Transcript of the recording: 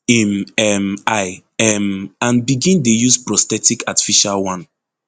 im um eye um and begin dey use prosthetic artificial one